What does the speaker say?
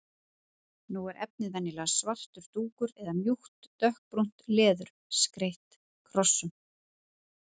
Nú er efnið venjulega svartur dúkur eða mjúkt dökkbrúnt leður, skreytt krossum.